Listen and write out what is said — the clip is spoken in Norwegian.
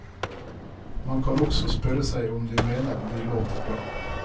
Man kan også spørre seg om de mener de låter bra.